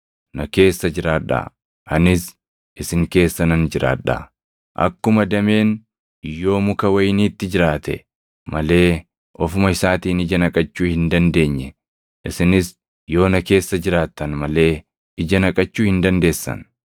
Na keessa jiraadhaa; anis isin keessa nan jiraadhaa. Akkuma dameen yoo muka wayiniitti jiraate malee ofuma isaatiin ija naqachuu hin dandeenye, isinis yoo na keessa jiraattan malee ija naqachuu hin dandeessan.